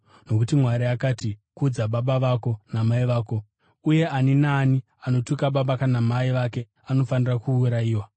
Nokuti Mwari akati, ‘Kudza baba vako namai vako’ uye, ‘Ani naani anotuka baba kana mai vake anofanira kuurayiwa.’